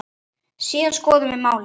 Síðan skoðum við málið.